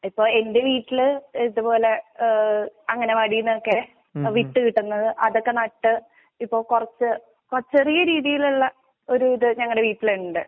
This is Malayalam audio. ഇപ്പോ എന്റെ വീട്ടില് ഏഹ് ഇതുപോലെ ഏഹ് അങ്ങനെ വഴിന്നൊക്കെ എ വിത്തുകിട്ടുന്നത് അതൊക്കെ നട്ട് ഇപ്പോ കുറച്ച് അ ചേറിയരീതിയിലുള്ള ഒര് ഇത് ഞങ്ങടെവീട്ടിലിൻണ്ട്